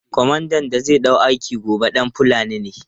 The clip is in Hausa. Komandan da zai ɗau aiki gobe ɗan Fulani ne.